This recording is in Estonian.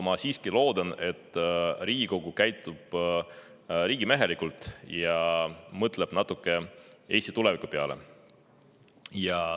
Ma siiski loodan, et Riigikogu käitub riigimehelikult ja mõtleb natuke Eesti tuleviku peale.